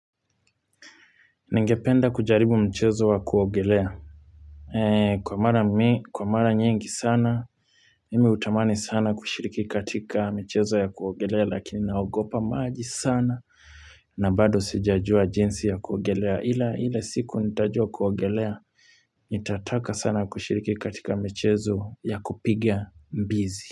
Ningependa kujaribu mchezo wa kuogelea. Kwa mara nyingi sana, mimi utamani sana kushiriki katika michezo ya kuogelea lakini naogopa maji sana. Na bado sijajua jinsi ya kuogelea ila siku nitajua kuogelea. Nitataka sana kushiriki katika michezo ya kupiga mbizi.